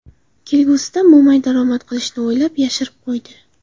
Kelgusida mo‘may daromad qilishni o‘ylab, yashirib qo‘ydi.